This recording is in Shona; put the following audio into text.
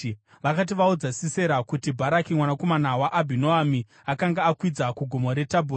Vakati vaudza Sisera kuti Bharaki mwanakomana waAbhinoami akanga akwidza kuGomo reTabhori,